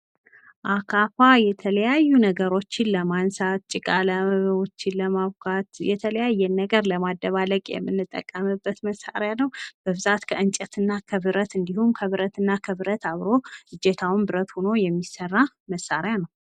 አካፋ የተለያዩ ነገሮችን ለማንሳት ጭቃዎችን ለማቡካት የተለያየን ነገር ለማደባለቅ የምንጠቀምበት መሳሪያ ነዉ። በብዛት ከእንጨት እና ከብረት እንዲሁም ከብረት እና ከብረት አብሮ እጀታዉም ብረት ሆኖ የሚሰራ መሳሪያ ነዉ።